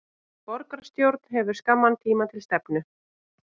Borgarstjórn hefur skamman tíma til stefnu